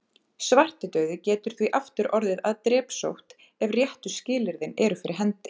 Svartidauði getur því aftur orðið að drepsótt ef réttu skilyrðin eru fyrir hendi.